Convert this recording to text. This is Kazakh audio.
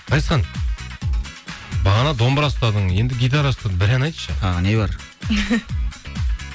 ғазизхан бағана домбыра ұстадың енді гитара ұстадың бір ән айтшы тағы не бар